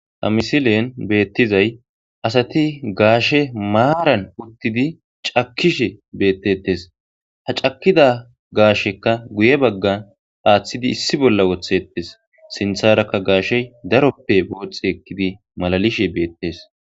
Ha misilen beettizay asati gaashe maaran uttidi cakkishe beettetes ha cakida gaashekka guye baggan aaththidi issi bolla wothettes sintharakka gaashe daroppe booxi ekkidi malalishe beettes